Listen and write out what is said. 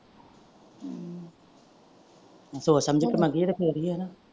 ਸੋਚ ਸਮਝ ਕ ਮੰਗੀਏ ਤੇ ਫੇਰ ਹੀ ਏ ਨਾ।